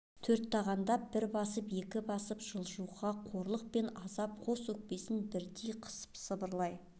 төрт тағандап бір басып екі басып жылжуға қорлық пен азап қос өкпесінен бірдей қысып сыбырлай